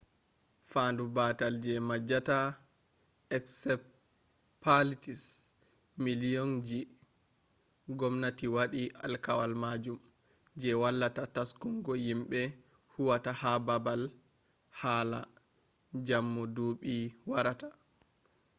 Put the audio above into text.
faandu baatal je maajata encephalitis miliyon ji ngomnati waɗi alkawal majum je wallata taskungo yimbe huwata ha baabal hala jammu duuɓi warata